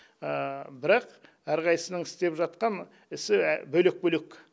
бірақ әрқайсысының істеп жатқан ісі бөлек бөлек